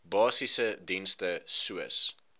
basiese dienste soos